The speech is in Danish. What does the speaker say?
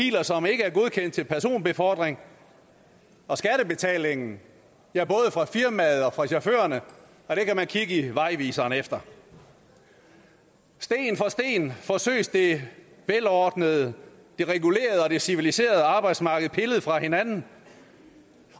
det er til personbefordring og skattebetalingen ja både fra firmaet og fra chaufførerne kan man kigge i vejviseren efter sten for sten forsøges det velordnede det regulerede og det civiliserede arbejdsmarked pillet fra hinanden